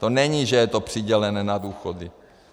To není, že je to přidělené na důchody.